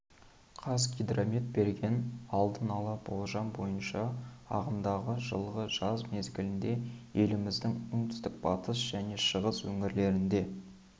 қазгидромет берген алдын ала болжам бойынша ағымдағы жылғы жаз мезгілінде еліміздің оңтүстік батыс және шығыс өңірлерінде